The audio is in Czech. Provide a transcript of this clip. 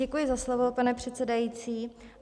Děkuji za slovo, pane předsedající.